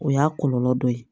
O y'a kɔlɔlɔ dɔ ye